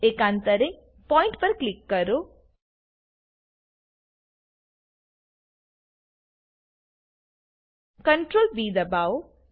એકાંતરે point પર click કરો Ctrl B દાબાવો